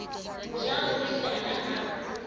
ja o le tala ha